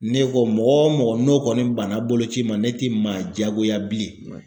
Ne ko mɔgɔ o mɔgɔ n'o kɔni banna boloci ma ne ti maa jagoya bilen